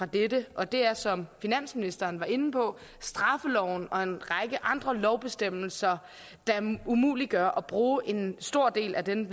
dette og det er som finansministeren var inde på at straffeloven og en række andre lovbestemmelser umuliggør at bruge en stor del af den